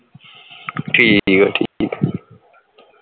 ਠੀਕ ਆ ਠੀਕ